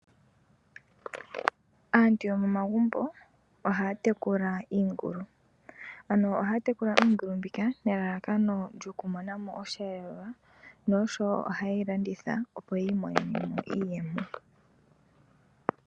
Aantu yomomagumbo ohaya tekula iingulu. Ano ohaya tekula iingulu mbika nelalakano lyoku monamo osheelelwa nosho woo oha ye yi landitha opo yi imonene mo iiyemo.